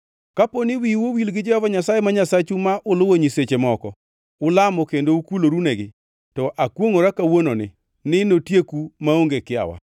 Kapo ni wiu owil gi Jehova Nyasaye ma Nyasachu ma uluwo nyiseche moko, ulamo kendo ukulorunegi, to akwongʼora kawuononi ni notieku maonge kiawa.